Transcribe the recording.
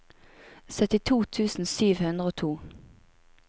syttito tusen sju hundre og to